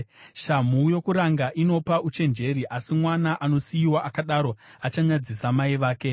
Shamhu yokuranga inopa uchenjeri, asi mwana anosiyiwa akadaro achanyadzisa mai vake.